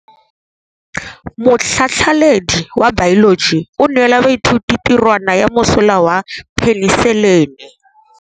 Motlhatlhaledi wa baeloji o neela baithuti tirwana ya mosola wa peniselene.